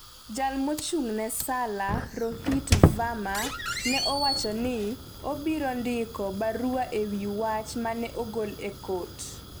jal mochung'ne Salla, Rohit Verma, ne owacho ni obiro ndiko barua ewi wach mane ogol e kot.